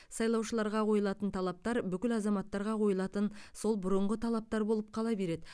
сайлаушыларға қойылатын талаптар бүкіл азаматтарға қойылатын сол бұрынғы талаптар болып қала береді